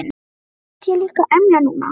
Hversvegna ætti ég líka að emja núna?